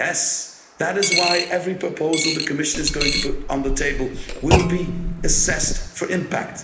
Yes, that is why every proposal the Commission is going to put on the table will be assessed for impact.